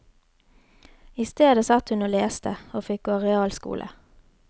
I stedet satt hun og leste, og fikk gå realskole.